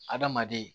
Adamaden